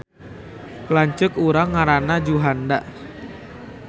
Lanceuk urang ngaranna Juhanda